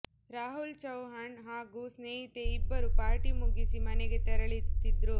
ರಾಹುಲ್ ಚೌಹಾಣ್ ಹಾಗೂ ಸ್ನೇಹಿತೆ ಇಬ್ಬರೂ ಪಾರ್ಟಿ ಮುಗಿಸಿ ಮನೆಗೆ ತೆರಳ್ತಿದ್ರು